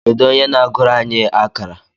Kedu onye na-agụrụ anyị akárà?